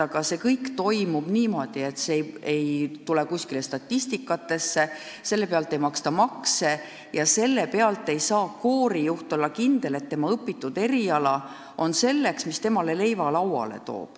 Ning see kõik toimub niimoodi, et see ei kajastu kuskil statistikas, selle pealt ei maksta makse ja koorijuht ei saa kindel olla, et tema õpitud eriala toob talle leiva lauale.